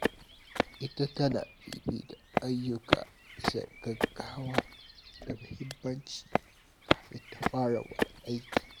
Ita tana fifita ayyuka bisa gaggawa da muhimmanci kafin ta fara wani aiki.